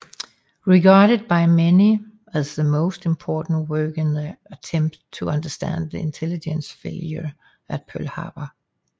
Regarded by many as the most important work in the attempt to understand the intelligence failure at Pearl Harbor